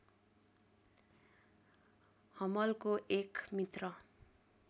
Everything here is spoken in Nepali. हम्मलको एक मित्र